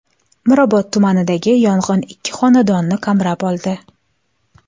Mirobod tumanidagi yong‘in ikki xonadonni qamrab oldi.